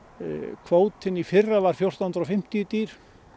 kvótinn í fyrra var fjórtán hundruð og fimmtíu dýr